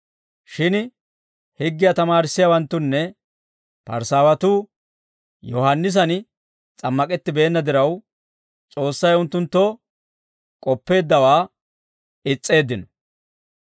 Shin higgiyaa tamaarissiyaawanttunne Parisaawatuu Yohaannisan s'ammak'ettibeenna diraw, S'oossay unttunttoo k'oppeeddawaa is's'eeddino.